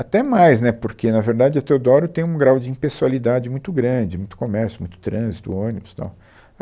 Até mais, né, porque, na verdade, a Teodoro tem um grau de impessoalidade muito grande, muito comércio, muito trânsito, ônibus, tal.